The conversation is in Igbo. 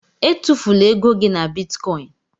Étufula égo gị na bịtkọin